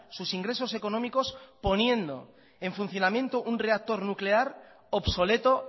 sus ingresos económicos poniendo en funcionamiento un reactor nuclear obsoleto